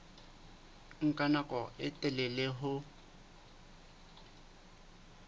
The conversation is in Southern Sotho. nka nako e telele ho